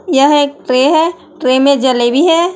यह एक ट्रे है ट्रे में जलेबी है।